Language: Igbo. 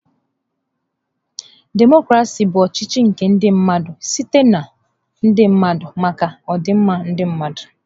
Demọcrasị bụ ọchịchị nke ndi mmadu site na ndi mmadu maka ọdịmma nke mmadụ.